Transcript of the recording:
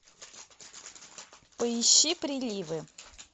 поищи приливы